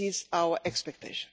This is our expectation.